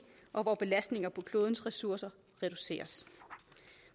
og hvor belastninger af klodens ressourcer reduceres